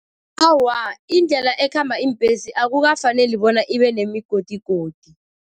Awa, indlela ekhamba iimbhesi akukafaneli bona ibe nemigodigodi.